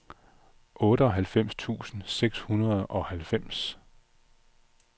otteoghalvfems tusind seks hundrede og halvfems